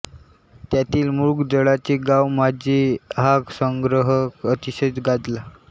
त्यातील मृगजळाचे गाव माझे हा संग्रह अतिशय गाजला